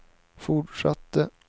fortsatte